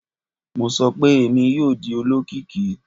Mo sọ pe Emi yoo di olokiki!